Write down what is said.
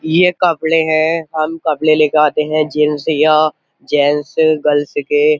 ये कपड़े हैं हम कपड़े लेकर आते हैं जैंट्स या जैंट्स गर्ल्स के।